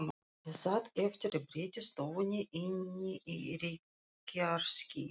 Ég sat eftir í betri stofunni inni í reykjarskýi.